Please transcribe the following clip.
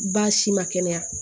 Baasi ma kɛnɛya